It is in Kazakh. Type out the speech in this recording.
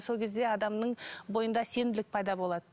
сол кезде адамның бойында сенімділік пайда болады